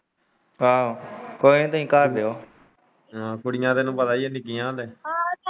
ਆਹੋ ਕੋਈ ਨਹੀਂ ਤੁਸੀਂ ਘਰ ਕੁੜੀਆਂ ਤੈਨੂੰ ਪਤਾ ਹੀ ਹੈ .